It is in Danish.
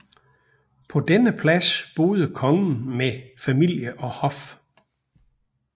På denne plads boede kongen med familie og hof